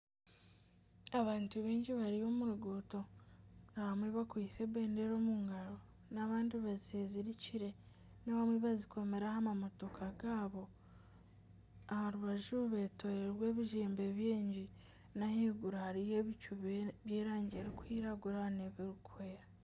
Abantu baingi bari omu ruguuto abamwe bakwaitse ebendera omu ngaro n'abandi bazezirikire n'abamwe bazikomire aha mamotoka gaabo aha rubaju beetoroirwe ebizimbe bingi. N'ahaiguru hariyo ebicu by'erangi erikwiragura n'ebirikwera